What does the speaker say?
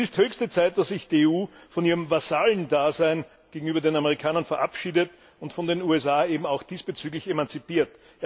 Es ist höchste Zeit, dass sich die EU von ihrem Vasallen Dasein gegenüber den Amerikanern verabschiedet und von den USA auch diesbezüglich emanzipiert.